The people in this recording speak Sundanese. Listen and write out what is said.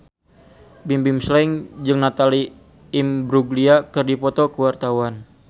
Bimbim Slank jeung Natalie Imbruglia keur dipoto ku wartawan